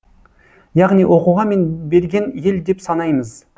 яғни оқуға мән берген ел деп санаймыз